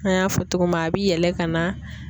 An y'a fɔ cogo min a bi yɛlɛ ka na.